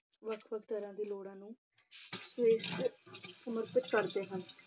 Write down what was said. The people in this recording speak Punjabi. ਵੱਖ ਵੱਖ ਤਰ੍ਹਾਂ ਦੀ ਲੋੜ੍ਹਾਂ ਨੂੰ ਪੇਸ ਤੇ ਸਮਰਪਿਤ ਕਰਦੇ ਹਨ।